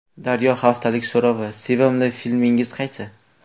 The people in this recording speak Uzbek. Daryo haftalik so‘rovi: Sevimli filmingiz qaysi?.